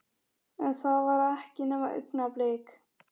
En það var ekki nema augnablik.